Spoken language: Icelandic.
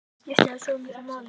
En skiptir það svo miklu máli?